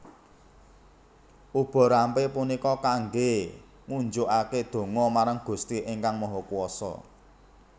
Ubo rampe punika kangge ngunjukake donga marang Gusti Ingkang Mahakuwasa